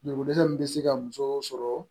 Joliko dɛsɛ min bɛ se ka muso sɔrɔ